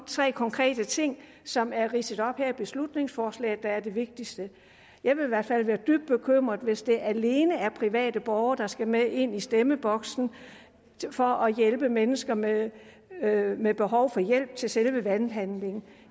tre konkrete ting som er ridset op her i beslutningsforslaget der er de vigtigste jeg vil i hvert fald være dybt bekymret hvis det alene er private borgere der skal med ind i stemmeboksen for at hjælpe mennesker med med behov for hjælp til selve valghandlingen